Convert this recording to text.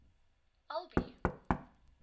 albi